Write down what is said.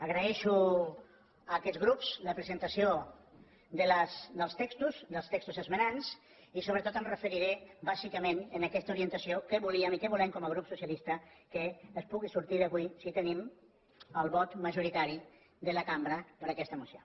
agraeixo a aquests grups la presentació dels textos esmenants i sobretot em referiré bàsicament en aquesta orientació de què volíem i què volem com a grup socialista que pugui sortir avui si tenim el vot majoritari de la cambra per a aquesta moció